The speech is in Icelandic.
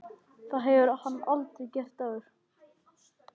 Þetta hefur hann aldrei gert áður.